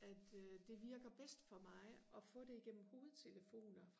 at øh det virker bedst for mig og få det gennem hovedtelefoner